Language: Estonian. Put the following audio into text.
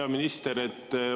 Hea minister!